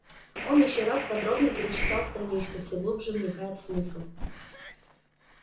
он ещё раз подробно перечитал страничку все глубже вникая в смысл